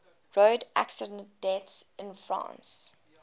road accident deaths in france